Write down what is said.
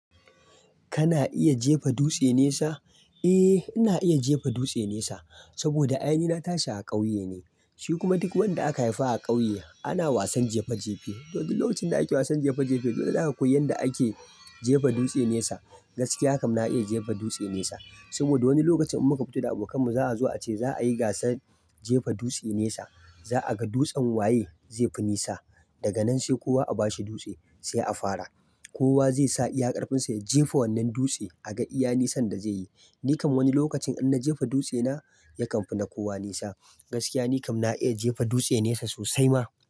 Kana iya jefa dutse nesa? Eh, ina iya jefa dutse nesa saboda ai ni na tashi a ƙauye ne. Shi kuma duk wanda aka haifa a ƙauye ana wasan jefa jefe. Don lokacin da ake wasan jefa jefe, dole za ka koyi yadda ake jefa dutse nesa. Gaskiya kam, na iya jefa dutse nesa saboda wani lokacin in muka fito da abokanmu, za a zo a ce za a yi gasar jefa dutse nesa. Za a ga dutsen waye zai fi nesa. Daga nan sai kowa a bashi dutse sai a fara. Kowa zai sa iya ƙarfinsa ya jefa wannan dutse a ga iya nisan da zai yi. Ni kam wani lokacin in na jefa dutsena yakan fi na kowa nesa. Gaskiya ni kam na iya jefa dutse nesa sosai ma.